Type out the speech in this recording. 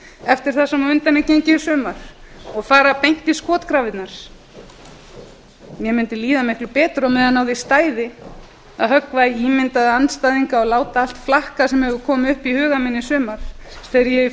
eftir það sem á undan er gengið í frumvarpi og fara beint í skotgrafirnar mér mundi líða miklu betur á meðan á því stæði að höggva í ímyndaða andstæðinga og láta allt flakka sem hefur komið upp í huga minn í sumar þegar ég í